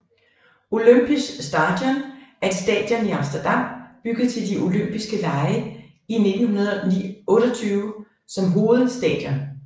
Olympisch Stadion er et stadion i Amsterdam bygget til de olympiske lege I 1928 som hovedstadionet